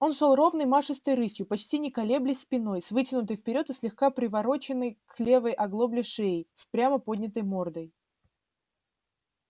он шёл ровной машистой рысью почти не колеблясь спиной с вытянутой вперёд и слегка привороченной к левой оглобле шеей с прямо поднятой мордой